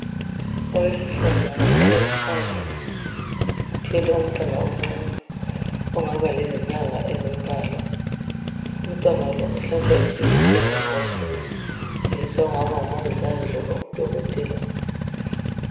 Owesifazana ohlezi phansi ,uthwele umntwana omncani ongaba lezinyanga ezimbalwa. Umntwana lo uhlatshwa ijekiseni ngowesilisa ongaba ngumongikazi loba udokothela.